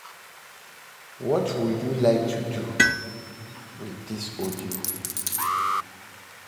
I get in ten tion to stop to dey check my phone every minute and focus for my work.